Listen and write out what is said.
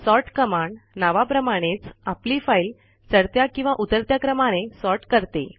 sort command नावाप्रमाणेच आपली file चढत्या किंवा उतरत्या क्रमाने सॉर्ट करते